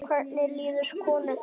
Hvernig líður konu þinni?